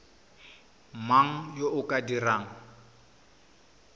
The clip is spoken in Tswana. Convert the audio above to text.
mang yo o ka dirang